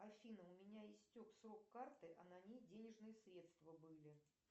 афина у меня истек срок карты а на ней денежные средства были